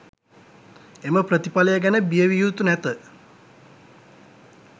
එම ප්‍රතිඵලය ගැන බිය විය යුතු නැත.